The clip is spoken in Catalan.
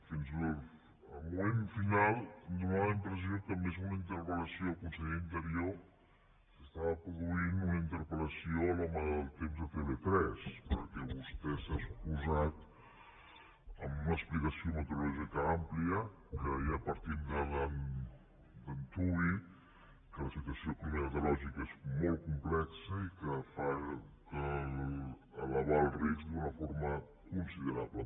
fins al moment final feia la impressió que més que una interpel·lació al conseller d’interior s’estava produint una interpel·lació a l’home del temps de tv3 perquè vostè ha exposat amb una explicació meteorològica àmplia que ja partim d’antuvi que la situació meteorològica és molt complexa i que fa elevar el risc d’una forma considerable